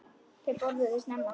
Þau borðuðu snemma.